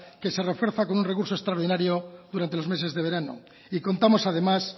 que se refuerza con un recurso extraordinario durante los meses de verano y contamos además